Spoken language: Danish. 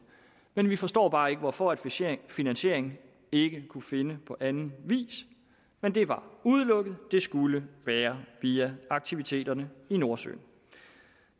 men vi forstår bare ikke hvorfor finansieringen ikke kunne findes på anden vis men det var udelukket det skulle være via aktiviteterne i nordsøen